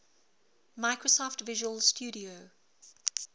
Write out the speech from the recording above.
microsoft visual studio